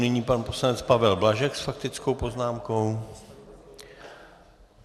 Nyní pan poslanec Pavel Blažek s faktickou poznámkou.